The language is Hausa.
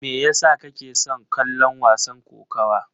Me yasa kake son kallon wasan kokawa?